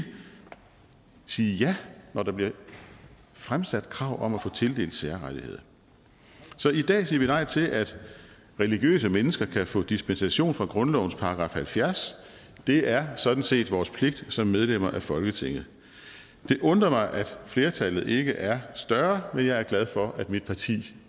sige ja når der bliver fremsat krav om at få tildelt særrettigheder så i dag siger vi nej til at religiøse mennesker kan få dispensation fra grundlovens § halvfjerds det er sådan set vores pligt som medlemmer af folketinget det undrer mig at flertallet ikke er større men jeg er glad for at mit parti